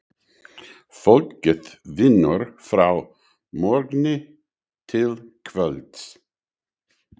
Fólkið vinnur frá morgni til kvölds.